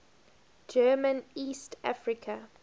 german east africa